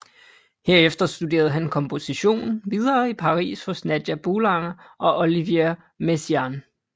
Herefter studerede han komposition videre i Paris hos Nadia Boulanger og Olivier Messiaen